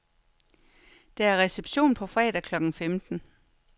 Der er reception på fredag klokken femten.